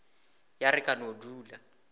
ya re ka no dula